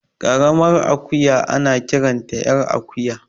Ƙaramar akuya ana kiranta ƴar akuya